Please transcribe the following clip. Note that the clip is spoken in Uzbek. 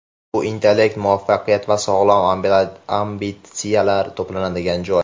Bu intellekt, muvaffaqiyat va sog‘lom ambitsiyalar to‘planadigan joy.